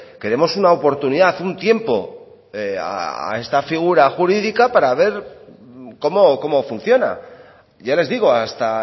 que demos una oportunidad un tiempo a esta figura jurídica para ver cómo funciona ya les digo hasta